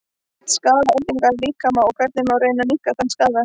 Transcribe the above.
hvernig skaða eldingar líkamann og hvernig má reyna að minnka þann skaða